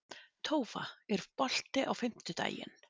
Tófa, er bolti á fimmtudaginn?